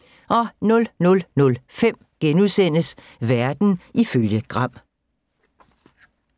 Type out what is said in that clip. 00:05: Verden ifølge Gram *